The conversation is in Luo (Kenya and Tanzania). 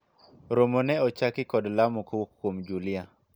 romo ne ochaki kod lamo kowuok kuom Julia